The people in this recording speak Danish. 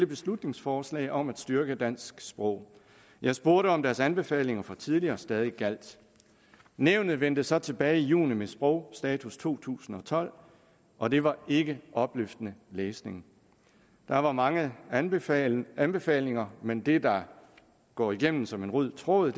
beslutningsforslag om at styrke dansk sprog jeg spurgte om deres anbefalinger fra tidligere stadig gjaldt nævnet vendte så tilbage i juni med sprogs status to tusind og tolv og det var ikke opløftende læsning der var mange anbefalinger anbefalinger men det der går igennem som en rød tråd